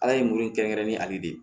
Ala ye muru in kɛrɛnkɛrɛn ni ale de ye